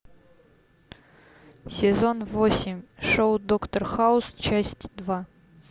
сезон восемь шоу доктор хаус часть два